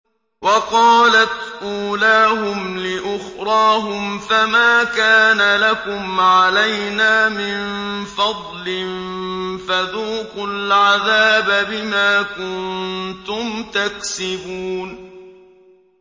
وَقَالَتْ أُولَاهُمْ لِأُخْرَاهُمْ فَمَا كَانَ لَكُمْ عَلَيْنَا مِن فَضْلٍ فَذُوقُوا الْعَذَابَ بِمَا كُنتُمْ تَكْسِبُونَ